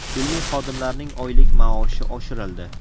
Ilmiy xodimlarning oylik maoshi oshirildi.